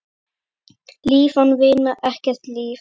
Líf án vinar, ekkert líf.